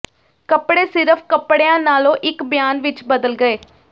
ਕੱਪੜੇ ਸਿਰਫ਼ ਕੱਪੜਿਆਂ ਨਾਲੋਂ ਇਕ ਬਿਆਨ ਵਿਚ ਬਦਲ ਗਏ